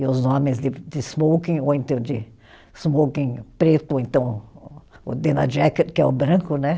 E os homens de de smoking, ou então de smoking preto, ou então o dean jacket, que é o branco, né?